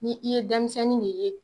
Ni i ye denmisɛnnin de ye